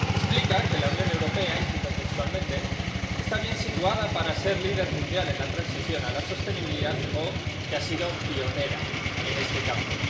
Explica que la Unión Europea —y cito textualmente— está bien situada para ser líder mundial en la transición a la sostenibilidad, o que ha sido pionera en este campo.